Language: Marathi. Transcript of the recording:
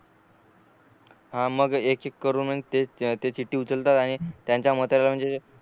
हा मग एक एक करून मग ते चिट्टी उचलतात आणि त्यांच्या मताच म्हणजे